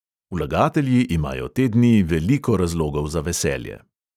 Vlagatelji imajo te dni veliko razlogov za veselje.